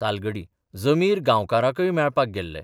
तालगडी जमीर गांवकारांकय मेळपाक गेल्ले.